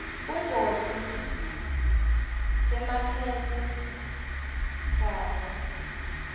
bungoti bemakethe kanye